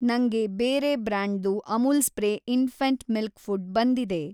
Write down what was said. ನಂಗೆ ಬೇರೆ ಬ್ರ್ಯಾಂಡ್‌ದು Amul spray infant milk food ಬಂದಿದೆ.